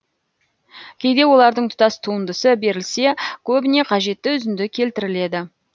кейде олардың тұтас туындысы берілсе көбіне қажетті үзінді келтіріледі